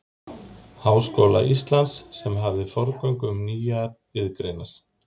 Háskóla Íslands, sem hafði forgöngu um nýjar iðngreinar.